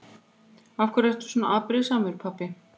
Af hverju svona afbrýðissamur pabbi?